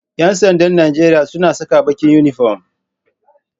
Ƴansandan Najeria suna saka baƙin inifom